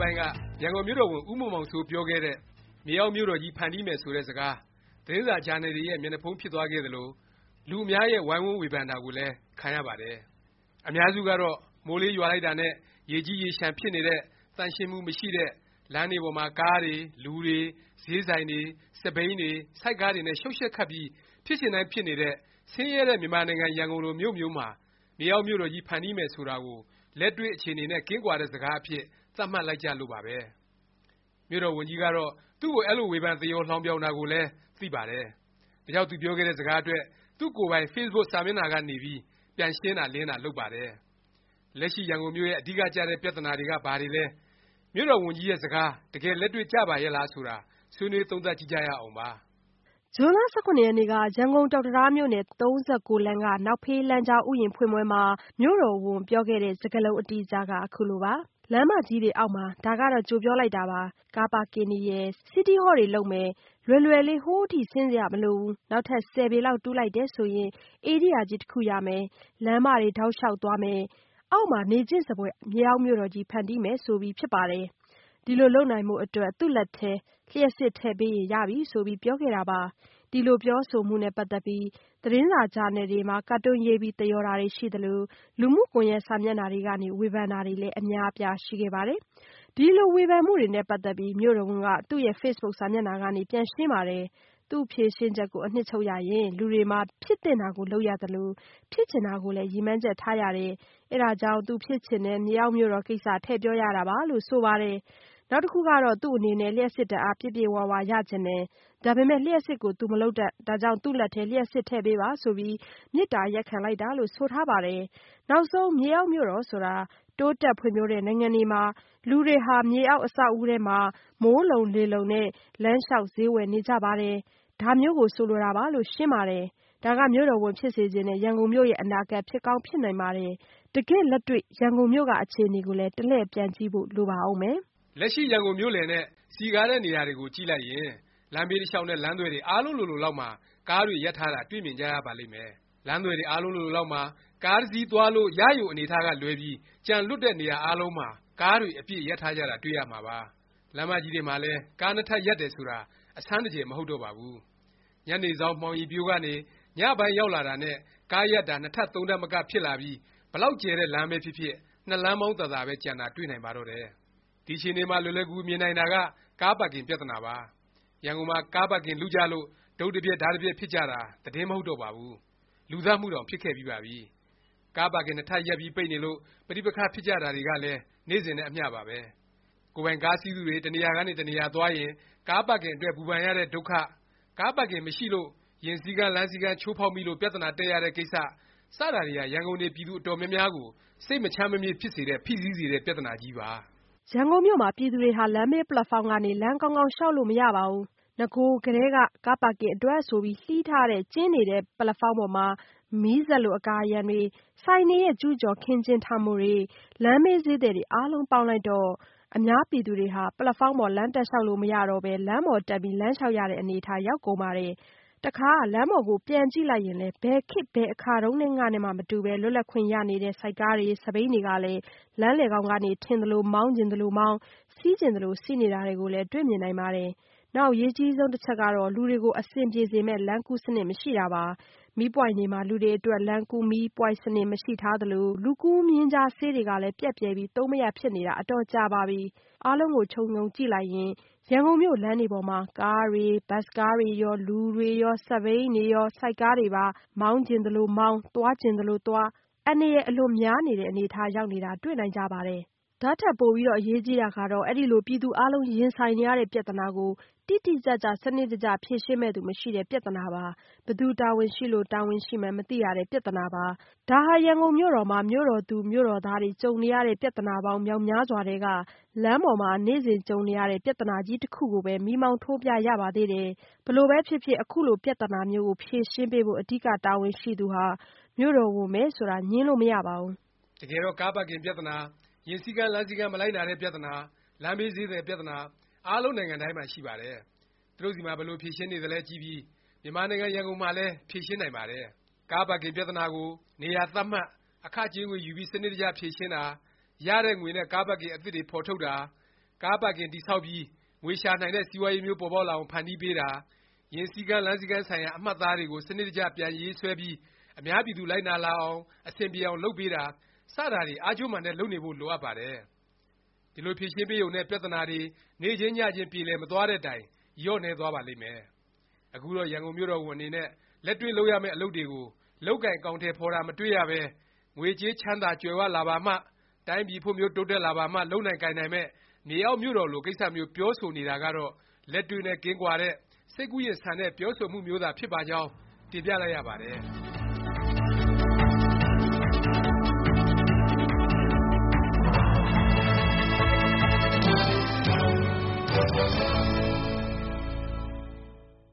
ပိုင်းက ရန်ကုန်မြို့တော်ဝန် ဦးမောင်မောင်စိုး ပြောခဲ့တဲ့ မြေအောက်မြို့တော်ကြီး ဖန်တီးမယ် ဆိုတဲ့ စကား သတင်းစာ၊ ဂျာနယ်တွေရဲ့ မျက်နှာဖုံး ဖြစ်သွားခဲ့သလို၊ လူအများရဲ့ ဝိုင်းဝန်းဝေဖန်တာကိုလည်း ခံရပါတယ်။ အများစုကတော့ မိုးလေးရွာလိုက်တာနဲ့ ရေကြီးရေလျှံ ဖြစ်နေတဲ့၊ သန့်ရှင်းမှု မရှိတဲ့၊ လမ်းတွေပေါ်မှာ ကားတွေ၊ လူတွေ၊ ဈေးဆိုင်တွေ၊ စက်ဘီးတွေ၊ ဆိုက်ကားတွေနဲ့ ရှုတ်ရှက်ခတ်ပြီး ဖြစ်ချင်တိုင်း ဖြစ်နေတဲ့ ဆင်းရဲတဲ့ မြန်မာနိုင်ငံ ရန်ကုန်လို မြို့မျိုးမှာ မြေအောက်မြို့တော်ကြီး ဖန်တီးမယ် ဆိုတာကို လက်တွေ့ အခြေအနေနဲ့ ကင်းကွာတဲ့ စကားအဖြစ် သတ်မှတ်လိုက်ကြလို့ပါပဲ။ မြို့တော်ဝန်ကြီးကတော့ သူ့ကို အဲလို ဝေဖန် သရော်လှောင်ပြောင်တာကိုလည်း သိပါတယ်။ ဒါကြောင့် သူပြောခဲ့တဲ့ စကားအတွက် သူ့ကိုယ်ပိုင် Facebook စာမျက်နှာကနေ ပြန်ပြီး ရှင်းတာ လင်းတာ လုပ်ပါတယ်။ လက်ရှိ ရန်ကုန်မြို့ရဲ့ အဓိကကျတဲ့ ပြသနာက ဘာတွေလဲ၊ မြို့တော်ဝန်ကြီးရဲ့ စကား တကယ်လက်တွေ့ကျပါရဲ့လား ဆိုတာ ဆွေးနွေးသုံးသပ်ကြည့်ကြရအောင်ပါ။ ဇွန်လ ၁၇ ရက်နေ့က ရန်ကုန် ကျောက်တံတားမြို့နယ် ၃၉ လမ်းက နောက်ဖေးလမ်းကြားဥယျာဉ် ဖွင့်ပွဲမှာ မြို့တော်ဝန် ပြောခဲ့တဲ့ စကားလုံး အတိအကျက ခုလိုပါ။ “ လမ်းမကြီးတွေ အောက်မှာ၊ ဒါကတော့ ကြိုပြောလိုက်တာပါ၊ ကားပါကင်တွေရယ်၊ City Hall တွေ လုပ်မယ်၊ လွယ်လွယ်လေး ဟိုးအထိ ဆင်းစရာ မလိုဘူး။ နောက်ထပ် ၁၀ ပေလောက် တူးလိုက်တယ် ဆိုရင် ဧရိယာကြီး တစ်ခုရမယ်။ လမ်းမတွေ တောက်လျောက် သွားမယ်၊ အောက်မှာ နေချင့်စဖွယ် မြေအောက်မြို့တော်ကြီး ဖန်တီးမယ်။” ဆိုပြီး ဖြစ်ပါတယ်။ ဒီလိုလုပ်နိုင်ဖို့ အတွက် သူ့လက်ထဲ လျှပ်စစ် ထည့်ပေးရင် ရပြီ ဆိုပြီး ပြောခဲ့တာပါ။ ဒီလို ပြောဆိုမှုနဲ့ ပတ်သက်ပြီး သတင်းစာ ဂျာနယ်တွေမှာ ကာတွန်းရေးပြီး သရော်တာတွေ ရှိသလို လူမှုကွန်ယက် စာမျက်နှာတွေကနေ ဝေဖန်တာတွေလည်း အများအပြား ရှိခဲ့ပါတယ်။ ဒီလို ဝေဖန်မှုတွေနဲ့ ပတ်သက်ပြီး မြို့တော်ဝန်က သူ့Facebook စာမျက်နှာကနေ ပြန်ရှင်းပါတယ်။ သူ့ဖြေရှင်းချက်ကို အနှစ်ချုပ်ရရင် လူတွေမှာ ဖြစ်သင့်တာကို လုပ်ရသလို၊ ဖြစ်ချင်တာကိုလည်း ရည်မှန်းချက် ထားရတယ်၊ အဲဒါကြောင့် သူဖြစ်ချင်တဲ့ မြေအောက်မြို့တော် ကိစ္စ ထည့်ပြောရတာပါလို့ ဆိုပါတယ်။ နောက်တစ်ခုက သူ့အနေနဲ့ လျှပ်စစ်ဓာတ်အား ပြည့်ပြည့်၀၀ ရချင်တယ်၊ ဒါပေမယ့် လျှပ်စစ်ကို သူ မလုပ်တတ်၊ ဒါကြောင့် သူ့လက်ထဲ လျှပ်စစ်ထည့်ပေးပါ ဆိုပြီး မေတ္တာရပ်ခံလိုက်တာလို့ ဆိုထားပါတယ်။ နောက်ဆုံး မြေအောက် မြို့တော်ဆိုတာ တိုးတက်ဖွံ့ဖြိုးတဲ့ နိုင်ငံတွေမှာ လူတွေဟာ မြေအောက် အဆောက်အဦတွေမှာ မိုးလုံလေလုံနဲ့ လမ်းလျောက် ဈေးဝယ်နေကြတယ်။ အဲဒါမျိုး ဆိုလိုတာပါ ဆိုပြီး ရှင်းပါတယ်။ ဒါက မြို့တော်ဝန်ဖြစ်စေချင်တဲ့ ရန်ကုန်မြို့ရဲ့ အနာဂတ် ဖြစ်ကောင်းဖြစ်နိုင်ပါတယ်။ တကယ့် လက်တွေ့ ရန်ကုန်မြို့က အခြေအနေကိုလည်း တစ်လှည့် ပြန်ကြည့်ဖို့ လိုပါဦးမယ်။ လက်ရှိ ရန်ကုန်မြို့လည်နဲ့ စည်ကားတဲ့ နေရာတွေကိုကြည့်လိုက်ရင် လမ်းဘေး တစ်လျောက်နဲ့ လမ်းသွယ်တွေ အားလုံးလိုလိုလောက်မှာ ကားတွေ ရပ်ထားတာ တွေ့မြင်ကြရပါလိမ့်မယ်။ လမ်းသွယ်တွေ အားလုံးလိုလိုလောက်မှာ ကားတစ်စီး သွားလို့ ရရုံ အနေအထားကလွဲပြီး ကျန်လွတ်တဲ့ နေရာအားလုံးမှာ ကားတွေ အပြည့် ရပ်ထားတာ တွေ့ကြရမှာပါ။ လမ်းမကြီးတွေမှာလည်း ကားနှစ်ထပ် ရပ်တယ် ဆိုတာ အဆန်းတကြယ် မဟုတ်တော့ပါဘူး။ ညနေစောင်း မှောင်ရီပျိုးကနေ ည ပိုင်းရောက်လာတာနဲ့ ကားရပ်တာ နှစ်ထပ် သုံးထပ်မက ဖြစ်လာပြီး ဘယ်လောက် ကျယ်တဲ့လမ်းပဲဖြစ်ဖြစ် နှစ်လမ်းမောင်းသာသာပဲ ကျန်တာ တွေ့နိုင်ပါတယ်။ ဒီအခြေအနေမှာ လွယ်လွယ်ကူကူမြင်နိုင်တာက ကားပါကင် ပြသနာပါ။ ရန်ကုန်မှာ ကားပါကင် လုကြလို့ တုတ်တစ်ပျက် ဓားတစ်ပြက် ဖြစ်ကြတာ သတင်းမဟုတ်တော့ပါဘူး။ လူသတ်မှုတောင် ဖြစ်ခဲ့ပြီးပါပြီ။ ကားပါကင်နှစ်ထပ်ရပ်ပြီး ပိတ်နေလို့ ပဋိပက္ခဖြစ်ကြတာတွေကလည်း နေ့စဉ်နဲ့ အမျှပါပဲ။ ကိုယ်ပိုင်ကားစီးသူတွေ တစ်နေရာကနေ တစ်နေရာသွားရင် ကားပါကင်အတွက် ပူပန်ရတဲ့ ဒုက္ခ၊ ကားပါကင်မရှိလို့ ယာဉ်စီးကမ်း လမ်းစီးကမ်း ချိုးဖေါက်မိလို့ ပြသနာတက်ရတဲ့ကိစ္စ စတာတွေဟာ ရန်ကုန်နေ ပြည်သူ အတော်များများကို စိတ်မချမ်းမမြေ့ ဖြစ်စေတဲ့ ဖိစီးစေတဲ့ ပြသနာကြီးပါ။ ရန်ကုန်မြို့မှာ ပြည်သူတွေဟာ လမ်းဘေးပက်လက်ဖေါင်းကနေ လမ်းကောင်းကောင်း လျောက်လို့ မရပါဘူး။ နဂိုကလည်းက ကားပါကင်အတွက် ဆိုပြီး လှီးထားလို့ ကျဉ်းနေတဲ့ ပက်လက်ဖေါင်းပေါ်မှာ မီးစက်လို အကာအရံတွေ၊ ဆိုင်တွေရဲ့ ကျူးကျော်ခင်းကျင်းထားမှုတွေ၊ လမ်းဘေး ဈေးသည်တွေ အားလုံးပေါင်းလိုက်တော့ အများပြည်သူတွေဟာ ပက်လက်ဖေါင်းပေါ် လမ်းတက်လျောက်လို့ မရတော့ပဲ လမ်းပေါ်တက် လမ်းလျောက်ရတဲ့ အနေအထား ရောက်ကုန်ပါတယ်။ တစ်ခါ လမ်းပေါ်ကို ပြန်ကြည့်လိုက်ရင်လည်း ဘယ်ခေတ် ဘယ်အခါတုန်းကနဲ့မှ မတူ လွတ်လပ်ခွင့်ရနေတဲ့ ဆိုက်ကားတွေ၊ စက်ဘီးတွေကလည်း လမ်းလည်ခေါင်ကနေ ထင်သလို မောင်းချင်သလို မောင်း၊ စီးချင်သလို စီးနေတာတွေကိုလည်း တွေ့မြင်နိုင်ပါတယ်။ နောက်အရေးကြီး တစ်ချက်က လူတွေကို အဆင်ပြေစေမယ့် လမ်းကူး စနစ်မရှိတာပါ။ မီးပွိုင့်တွေမှာ လူတွေအတွက် လမ်းကူးမီးပွိုင့်စနစ် ရှိမထားသလို၊ လူကူးမျဉ်းကြား ဆေးတွေကလည်း ပျက်ပြယ်ပြီး သုံးမရ ဖြစ်နေတာ အတော်ကြာပါပြီ။ အားလုံးကို ခြုံငုံကြည့်လိုက်ရင် ရန်ကုန်မြို့ လမ်းတွေပေါ်မှာ ကားတွေ၊ ဘတ်စ်ကားတွေရော၊ လူတွေရော၊ စက်ဘီးတွေရော၊ ဆိုက်ကားတွေပါ မောင်းချင်သလိုမောင်း၊ သွားချင်သလိုသွား အန္တရာယ် အလွန်များနေတဲ့ အနေအထား ရောက်နေတာ တွေ့နိုင်ကြပါတယ်။ ဒါ့ထက် ပိုအရေးကြီးတာကတော့ အဲဒီလို ပြည်သူအားလုံး ရင်ဆိုင်နေရတဲ့ ပြသနာကို တိတိကျကျ၊ စနစ်တကျ ဖြေရှင်းမယ့်သူ မရှိတဲ့ ပြသနာပါ။ ဘယ်သူ တာဝန်ရှိလို့ တာဝန်ရှိမှန်း မသိရတဲ့ ပြသနာပါ။ ဒါဟာ ရန်ကုန်မြို့တော်မှာ မြို့တော်သူ မြို့တော်သားတွေ ကြုံနေရတဲ့ ပြသနာပေါင်း မြောက်များစွာထဲက လမ်းပေါ်မှာ နေ့စဉ်ကြုံနေရတဲ့ ပြသနာကြီးတစ်ခုကိုပဲ မီးမောင်းထိုးပြရပါသေးတယ်။ ဘယ်လိုပဲဖြစ်ဖြစ် အခုလို ပြသနာမျိုးကို ဖြေရှင်းပေးဖို့ အဓိက တာဝန်ရှိသူဟာ မြို့တော်ဝန်ပဲ ဆိုတာ ငြင်းလို့ မရပါဘူး။ တကယ်တော့ ကားပါကင်ပြသနာ၊ ယာဉ်စည်းကမ်း လမ်းစည်းကမ်း မလိုက်နာတဲ့ပြသနာ၊ လမ်းဘေးဈေးသည် ပြသနာ၊ အားလုံး နိုင်ငံတိုင်းမှာ ရှိပါတယ်။ သူတို့ဆီမှာ ဘယ်လို ဖြေရှင်းနေသလဲ ကြည့်ပြီး မြန်မာနိုင်ငံ ရန်ကုန်မှာလည်း ဖြေရှင်းနိုင်ပါတယ်။ ကားပါကင် ပြသနာကို နေရာသတ်မှတ်၊ အခကြေးငွေ ယူပြီး စနစ်တကျ ဖြေရှင်းတာ၊ ရတဲ့ငွေနဲ့ ကားပါကင် အသစ်တွေ ဖော်ထုတ်တာ၊ ကားပါကင် တည်ဆောက်ပြီး ငွေရှာနိုင်တဲ့ စီးပွားရေးမျိုး ပေါ်ပေါက်လာအောင် ဖန်တီးပေးတာ၊ ယာဉ်စည်းကမ်း၊ လမ်းစည်းကမ်းဆိုင်ရာ အမှတ်အသားတွေကို စနစ်တကျ ပြန်ရေးဆွဲပြီး အများပြည်သူ လိုက်နာလာအောင်၊ အဆင်ပြေအောင် လုပ်ပေးတာ စတာတွေ အားကြိုးမာန်တက် လုပ်နေဖို့ လိုအပ်ပါတယ်။ ဒီလို ဖြေရှင်းပေးရုံနဲ့ ပြသနာတွေ နေ့ချင်းညချင်း ပြေလည်မသွားတဲ့တိုင် လျော့နည်းသွားပါလိမ့်မယ်။ အခုတော့ ရန်ကုန်မြို့တော်ဝန် အနေနဲ့ လက်တွေ့လုပ်ရမယ့် အလုပ်တွေကို လုပ်ကိုင် အကောင်အထည်ဖော်တာ မတွေ့ရပဲ ငွေကြေးချမ်းသာကြွယ်၀ လာပါမှ၊ တိုင်းပြည်ဖွံ့ဖြိုးတိုးတက်လာပါမှ လုပ်ကိုင်နိုင်မယ့် မြေအောက်မြို့တော်လို ကိစ္စမျိုး ပြောဆိုနေတာကတော့ လက်တွေ့နဲ့ကင်းကွာတဲ့၊ စိတ်ကူးယဉ်ဆန်တဲ့ ပြောဆိုမှုမျိုးသာ ဖြစ်နိုင်ပါကြောင်း တင်ပြလိုက်ရပါတယ်။